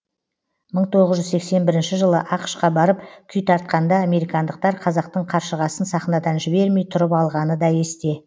мың тоғыз жүз сексен бірінші жылы ақш қа барып күй тартқанда американдықтар қазақтың қаршығасын сахнадан жібермей тұрып алғаны да есте